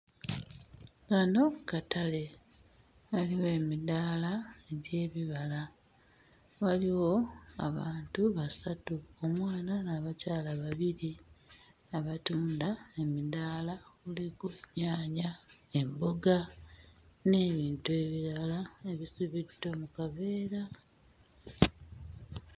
Kano katale waliwo emidaala egy'ebibala waliwo abantu basatu omwana n'abakyala babiri abatunda emidaala kuliko nnyaanya emboga n'ebintu ebirala ebisibiddwa mu kaveera.